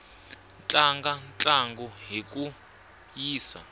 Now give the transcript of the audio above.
tlanga ntlangu hi ku yisa